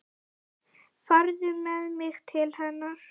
Farðu með mig til hennar.